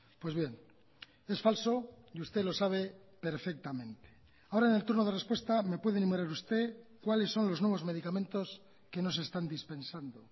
pues bien es falso y usted lo sabe perfectamente ahora en el turno de respuesta me puede enumerar usted cuáles son los nuevos medicamentos que no se están dispensando